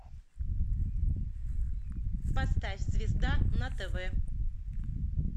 поставь звезда на тв